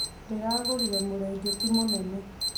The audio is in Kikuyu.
Ndĩragũrire mũrĩngĩti mũnene